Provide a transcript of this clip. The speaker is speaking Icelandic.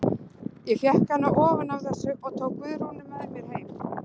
Ég fékk hann ofan af þessu og tók Guðrúnu með mér heim.